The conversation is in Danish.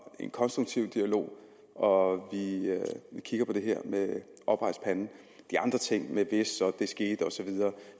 en konstruktiv dialog og vi kigger på det her med oprejst pande de andre ting med hvad der så skete og så videre